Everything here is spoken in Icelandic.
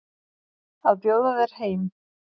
Að bjóða þér heim.